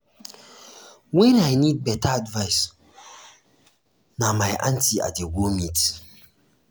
wen i need beta advice na beta advice na my aunty i dey go meet.